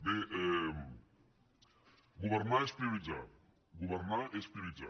governar és prioritzar governar és prioritzar